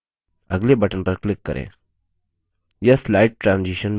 यह slide transition बनाने के लिए step है